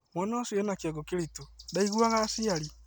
Mwana ũcio ena kĩongo kĩritũ, ndaiguaga aciari